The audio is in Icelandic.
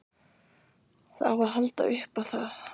Það á að halda upp á það.